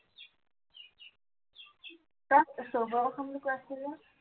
সৱকে খোৱাম বুলি কৈ আছিলি যে